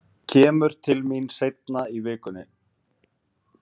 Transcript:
Kemur til mín seinna í vikunni.